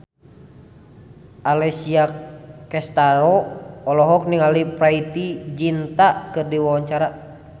Alessia Cestaro olohok ningali Preity Zinta keur diwawancara